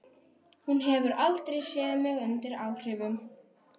Hún hefur aldrei séð mig undir áhrifum.